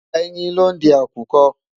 Ẹyin lo ń di àkùkọ.